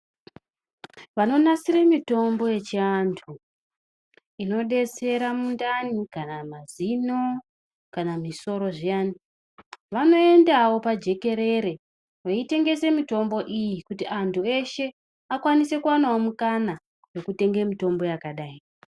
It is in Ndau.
Vanonasire mitombo yechi antu inodetsera mindani kana mazino kana musoro zviyani vanoendawo pajekerere veyitengese mitombo iyi kuti antu veshe vakwani sewo kuwana mukana kuti vatenge mutombo yakadai.